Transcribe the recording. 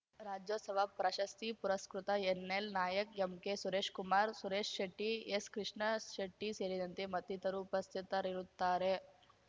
ರಾಜ್ಯೋತ್ಸವ ಪ್ರಶಸ್ತಿ ಪುರಸ್ಕೃತ N L Nayak M K Suresh Kumar Suresh Shetty S Krishna ಶೆಟ್ಟಿಸೇರಿದಂತೆ ಮತ್ತಿತರು ಉಪಸ್ಥಿತರಿರುತ್ತಾರೆ